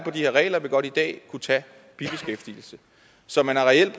her regler vil godt i dag kunne tage bibeskæftigelse så man har reelt